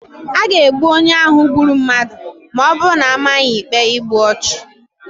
A ga-egbu onye ahụ gburu mmadụ ma ọ bụrụ na a maa ya ikpe igbu ọchụ.